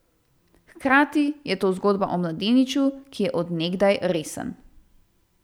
Hkrati je to zgodba o mladeniču, ki je od nekdaj resen.